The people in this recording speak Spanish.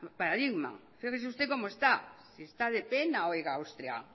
paradigma fíjese usted cómo está si está de pena oiga austria